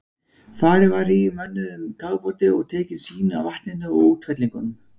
Farið var niður í mönnuðum kafbáti og tekin sýni af vatninu og útfellingunum.